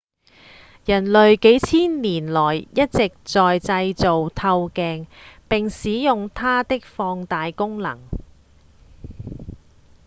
人類幾千年來一直在製造透鏡並使用它的放大功能